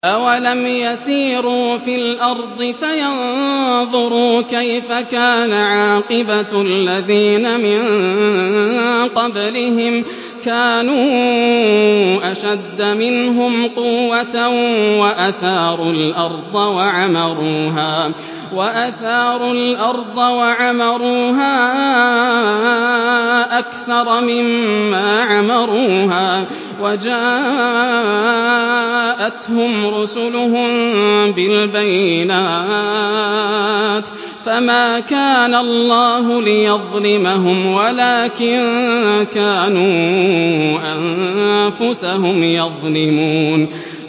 أَوَلَمْ يَسِيرُوا فِي الْأَرْضِ فَيَنظُرُوا كَيْفَ كَانَ عَاقِبَةُ الَّذِينَ مِن قَبْلِهِمْ ۚ كَانُوا أَشَدَّ مِنْهُمْ قُوَّةً وَأَثَارُوا الْأَرْضَ وَعَمَرُوهَا أَكْثَرَ مِمَّا عَمَرُوهَا وَجَاءَتْهُمْ رُسُلُهُم بِالْبَيِّنَاتِ ۖ فَمَا كَانَ اللَّهُ لِيَظْلِمَهُمْ وَلَٰكِن كَانُوا أَنفُسَهُمْ يَظْلِمُونَ